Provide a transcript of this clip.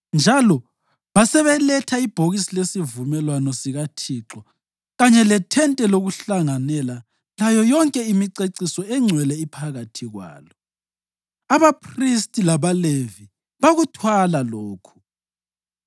njalo basebeletha ibhokisi lesivumelwano sikaThixo kanye leThente lokuHlanganela layo yonke imiceciso engcwele iphakathi kwalo. Abaphristi labaLevi bakuthwala lokhu,